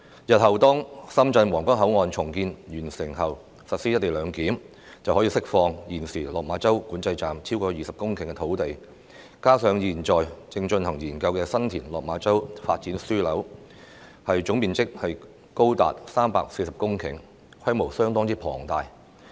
日後深圳皇崗口岸重建完成後將實施"一地兩檢"，可以釋出現時落馬洲管制站超過20公頃的土地，而現正進行研究的新田/落馬洲發展樞紐，總面積亦高達約340公頃，規模相當龐大。